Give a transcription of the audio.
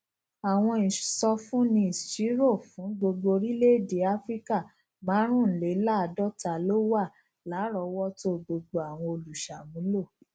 àwọn ìsọfúnni ìṣirò fún gbogbo orílèèdè áfíríkà márùnléláàádóta ló wà láròówótó gbogbo àwọn olùṣàmúlò